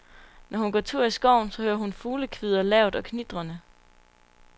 Når hun går tur i skoven, så hører hun fuglekvidder, lavt og knitrende.